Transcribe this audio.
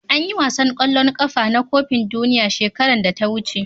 an yi wasan kwallon kafa na kofin duniya shekaran da ta wuce